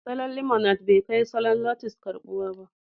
Salon Limonad bai kai salon notles karɓuwa ba